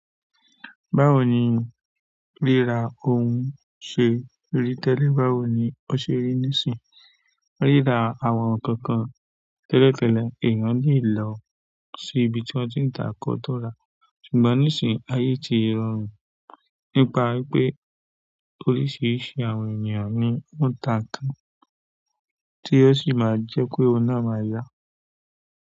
Báwo ni rírà ohun ṣe rí tẹ́lẹ̀? Báwo ni ó ṣe rí nísìí? Rírà àwọn ǹkan kan tẹ́lẹ̀ tẹ́lẹ̀ èèyàn lè lọ sí ibi tí ó ti ń tàá kọ́ tó ra, ṣùgbọ́n nísìí ayé ti rọrùn nípa wípé oríṣiríṣi àwọn ènìyàn ní ó ń ta ǹkan tí ó sì máa ń jẹ́ pé òhun náà máa yá.